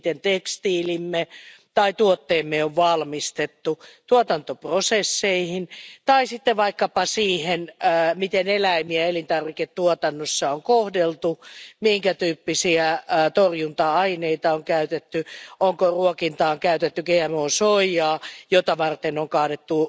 tekstiiliemme tai tuotteidemme valmistustapaan, tuotantoprosesseihin tai vaikkapa siihen, miten eläimiä elintarviketuotannossa on kohdeltu, minkä tyyppisiä torjunta aineita on käytetty tai onko ruokintaan käytetty GMO soijaa, jota varten on kaadettu